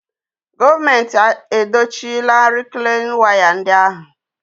Gọọmenti edochila rịklain waya ndị ahụ